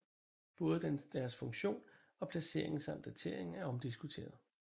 Både deres funktion og placering samt datering er omdiskuteret